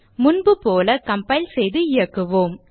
முன்பு போல கம்பைல் செய்து இயக்குவோம்